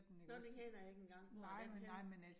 Nåh den kender jeg ikke engang. Hvor den henne?